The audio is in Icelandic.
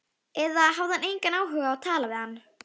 Eða hafði hann engan áhuga á að tala við hana?